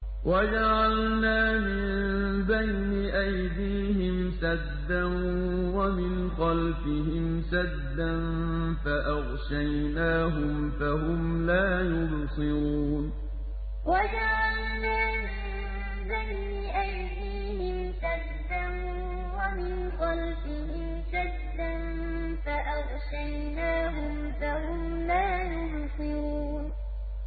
وَجَعَلْنَا مِن بَيْنِ أَيْدِيهِمْ سَدًّا وَمِنْ خَلْفِهِمْ سَدًّا فَأَغْشَيْنَاهُمْ فَهُمْ لَا يُبْصِرُونَ وَجَعَلْنَا مِن بَيْنِ أَيْدِيهِمْ سَدًّا وَمِنْ خَلْفِهِمْ سَدًّا فَأَغْشَيْنَاهُمْ فَهُمْ لَا يُبْصِرُونَ